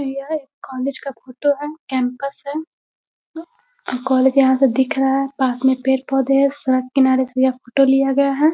यह एक कॉलेज का फोटो है कैंपस है। अ कॉलेज यहाँ से दिख रहा है। पास में पेड़-पौधे हैं। सड़क किनारे से यहाँ फोटो लिया गया है।